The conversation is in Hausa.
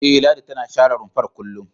E, Ladi tana share rumfar kullum.